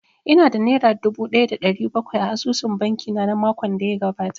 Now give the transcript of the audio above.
Ina da nera dubu ɗaya da ɗari bakwai a asusun banki na makon da ya gabata